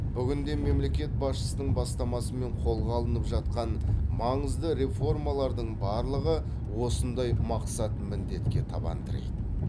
бүгінде мемлекет басшысының бастамасымен қолға алынып жатқан маңызды реформалардың барлығы осындай мақсат міндетке табан тірейді